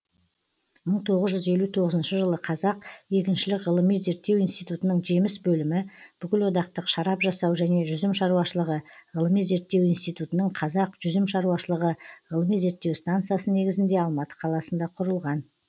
мың тоғыз жүз елу тоғызыншы жылы қазақ егіншілік ғылыми зерттеу институтының жеміс бөлімі бүкілодақтық шарап жасау және жүзім шаруашылығы ғылыми зерттеу институтының қазақ жүзім шаруашылығы ғылыми зертеу станциясы негізінде алматы қаласында құрылған